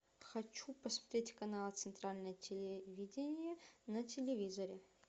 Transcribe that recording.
хочу посмотреть канал центральное телевидение на телевизоре